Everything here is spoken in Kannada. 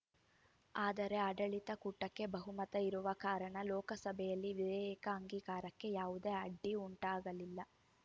ಆದರೆ ಆಡಳಿತ ಕೂಟಕ್ಕೆ ಬಹುಮತ ಇರುವ ಕಾರಣ ಲೋಕಸಭೆಯಲ್ಲಿ ವಿಧೇಯಕ ಅಂಗೀಕಾರಕ್ಕೆ ಯಾವುದೇ ಅಡ್ಡಿ ಉಂಟಾಗಲಿಲ್ಲ